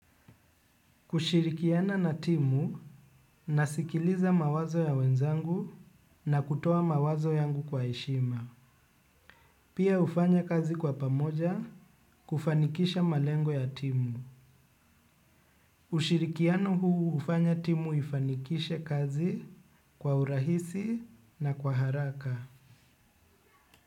Kushirikiana na timu nasikiliza mawazo ya wenzangu na kutoa mawazo yangu kwa heshima. Pia ufanya kazi kwa pamoja kufanikisha malengo ya timu. Ushirikiano huu hufanya timu ifanikishe kazi kwa urahisi na kwa haraka.